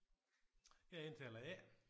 Jeg er indtaler A